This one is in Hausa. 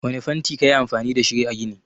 Wanne fanti kayi amfani dashi a ginin.